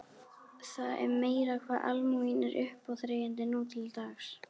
Það er meira hvað almúginn er uppáþrengjandi nú til dags.